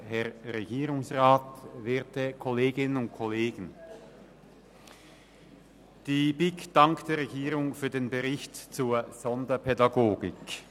der BiK. Die BiK dankt der Regierung für den Bericht zur Sonderpädagogik.